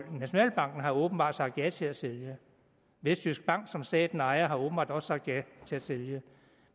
nationalbanken har åbenbart sagt ja til at sælge og vestjysk bank som staten ejer har åbenbart også sagt ja til at sælge